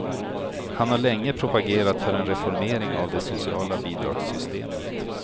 Han har länge propagerat för en reformering av det sociala bidragssystemet.